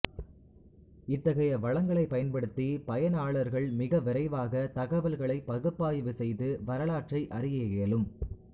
இத்தகைய வளங்களை பயன்படுத்தி பயனாளா்கள் மிக விரைவாக தகவல்களை பகுப்பாய்வு செய்து வரலாற்றை அறிய இயலும்